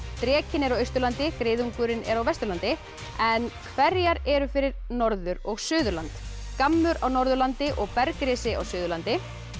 drekinn er á Austurlandi griðungurinn á Vesturlandi en hverjar eru fyrir Norður og Suðurland gammur á Norðurlandi og á Suðurlandi